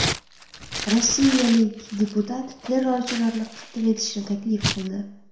Rossiyalik deputat terrorchilarni qatl etishni taklif qildi.